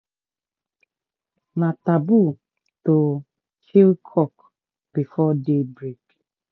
na taboo to kill cock before day break